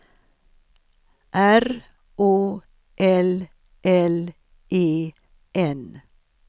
R O L L E N